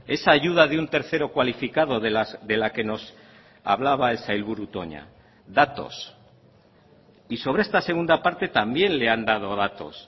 esa ayuda de un tercero cualificado de la que nos hablaba el sailburu toña datos y sobre esta segunda parte también le han dado datos